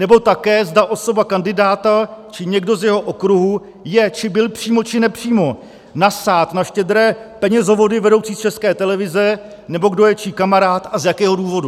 Nebo také, zda osoba kandidáta či někdo z jeho okruhu je či byl přímo či nepřímo nasát na štědré penězovody vedoucí z České televize, nebo kdo je čí kamarád a z jakého důvodu.